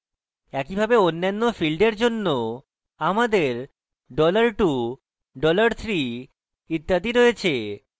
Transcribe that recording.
একইভাবে অন্যান্য ফীল্ডের জন্য আমাদের $2 $3 ইত্যাদি রয়েছে